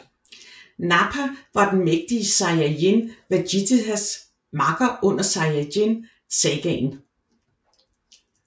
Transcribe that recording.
Nappa var den mægtige sayajin Vejitas makker under Sayajin Sagaen